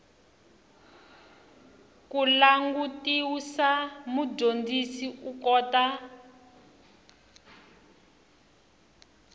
ku langutisa mudyondzi u kota